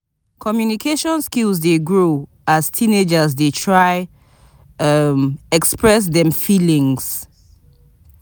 Communication skills dey grow as teenagers dey try express dem feelings.